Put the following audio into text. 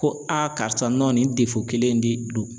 Ko a karisa nin kelen in de don